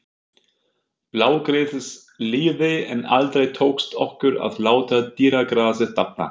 Blágresið lifði, en aldrei tókst okkur að láta dýragrasið dafna.